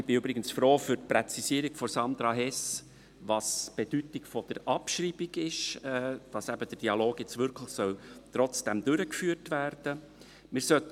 Ich bin übrigens froh um die Präzisierung von Sandra Hess, was die Bedeutung der Abschreibung ist, dass eben der Dialog jetzt trotzdem wirklich durchgeführt werden soll.